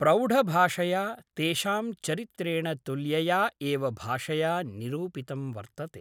प्रौढभाषया तेषां चरित्रेण तुल्यया एव भाषया निरूपितं वर्तते